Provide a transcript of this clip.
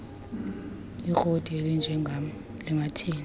ikroti elinjengam lingathini